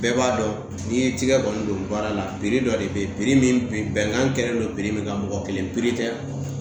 Bɛɛ b'a dɔn n'i ye tigɛ kɔni don baara la dɔ de bɛ ye min bɛnkan kɛlen don min kan mɔgɔ kelen piri tɛ